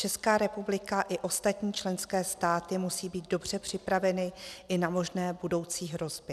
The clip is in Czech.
Česká republika i ostatní členské státy musí být dobře připraveny i na možné budoucí hrozby.